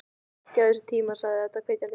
Gefðu þessu tíma, sagði Edda hvetjandi.